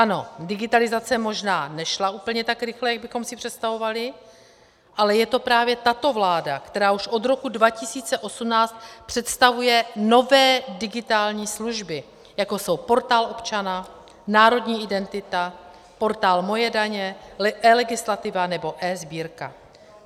Ano, digitalizace možná nešla úplně tak rychle, jak bychom si představovali, ale je to právě tato vláda, která už od roku 2018 představuje nové digitální služby, jako jsou Portál občana, Národní identita, portál Moje daně, eLegislativa nebo eSbírka.